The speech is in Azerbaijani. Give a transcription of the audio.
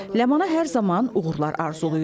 Ləmana hər zaman uğurlar arzulayıram.